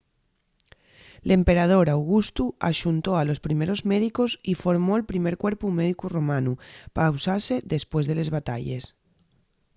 l’emperador augustu axuntó a los primeros médicos y formó’l primer cuerpu médicu romanu pa usase depués de les batalles